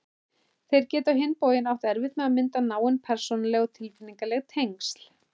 Þeir geti á hinn bóginn átt erfitt með að mynda náin persónuleg og tilfinningaleg tengsl.